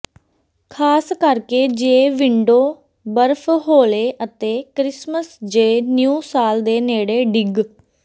ਖ਼ਾਸ ਕਰਕੇ ਜੇ ਵਿੰਡੋ ਬਰਫ ਹੌਲੇ ਅਤੇ ਕ੍ਰਿਸਮਸ ਜ ਨਿਊ ਸਾਲ ਦੇ ਨੇੜੇ ਡਿੱਗ